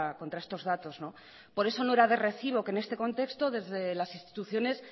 contra estos datos por eso no era de recibo que en este contexto desde las instituciones